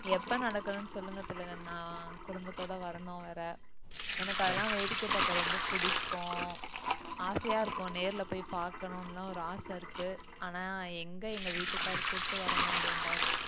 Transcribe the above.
எப்ப நடக்குதுன்னு சொல்லுங்க திலகண்ணா குடும்பத்தோட வரணும் வேற எனக்கு அதெல்லாம் வேடிக்கை பார்க்க ரொம்ப பிடிக்கும் ஆசையா இருக்கும் நேர்ல போய் பார்க்கணும்னுலாம் ஒரு ஆசை இருக்கு ஆனா எங்க எங்க வீட்டுக்காரர் கூட்டு வரமாட்டேன்றாரு